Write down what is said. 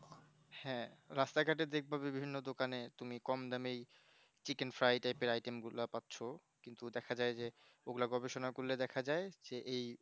হ্যাঁ রসটা ঘটে দেখব বিভিন্ন দোকানে তুমি কম দামে chicken fry গুলা item পাচ্ছ কিন্তু দেখা যায় যে ওগুলো গবেষণা করলে দেখা যায় যে এই